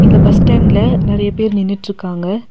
இந்த பஸ் ஸ்டேண்ட்ல நெறைய பேர் நின்னுட்ருக்காங்க.